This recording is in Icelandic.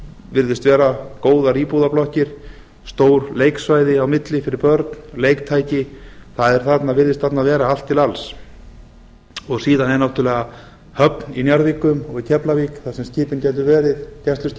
virðast vera góðar íbúðarblokkir stór leiksvæði á milli fyrir börn leiktæki það virðist þarna vera allt til alls síðan er náttúrulega höfn í njarðvíkum og í keflavík þar sem gæsluskipin gætu